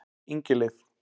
Ingileif